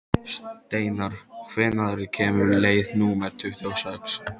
Steinar, hvenær kemur leið númer tuttugu og sex?